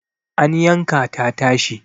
an yanka ta tashi